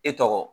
E tɔgɔ